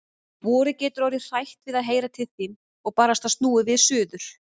Vorið getur orðið hrætt við að heyra til þín. og barasta snúið við suður.